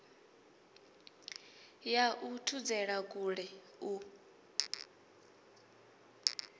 ya u thudzela kule u